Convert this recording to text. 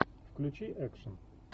включи экшен